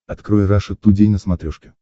открой раша тудей на смотрешке